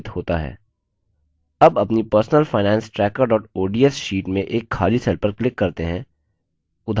अब अपनी personal finance tracker ods sheet में एक खाली cell पर click करते हैं